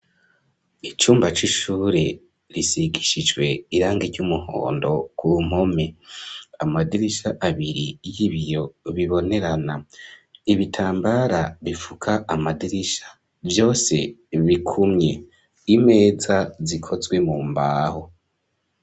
Icumba c'ishure, risigishijwe irangi ry'umuhondo, ku mpome; amadirisha abiri, y'ibiyo bibonerana; ibitambara bifuka amadirisha, vyose bikumye; imeza zikozwe mu mbaho.